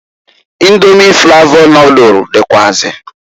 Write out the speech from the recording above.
Indomi flavọ nodulu dịkwuazi.